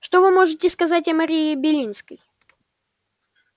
что вы можете сказать о марии белинской